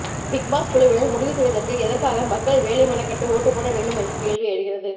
Bigg Boss குழுவினர் முடிவு செய்வதற்கு எதற்காக மக்கள் வேலை மெனக்கெட்டு ஓட்டு போட வேண்டும் என்ற கேள்வி எழுகிறது